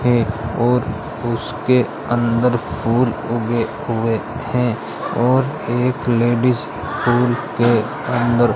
और उसके अंदर फुल उगे हुए हैं और एक लेडिस फूल के अंदर --